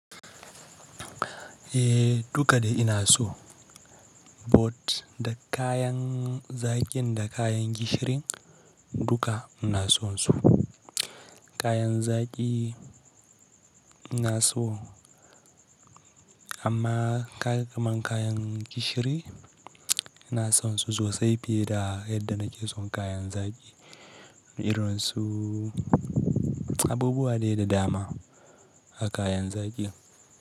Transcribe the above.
Eh duka da ina so. Bot da kayan zakin da kayan gishirin duka ina sonsu. Kayan zaki ina so amma kaga kaman kayan gishiri ina sonsu sosai fiye da yadda nake son kayan zaki. Irin su abubuwa dai da dama a kayan zaki.